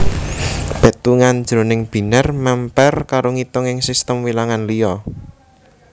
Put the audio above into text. Pétungan jroning binèr mèmper karo ngitung ing sistem wilangan liya